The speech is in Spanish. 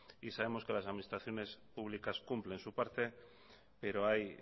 y sabemos que las administraciones públicas cumplen su parte pero hay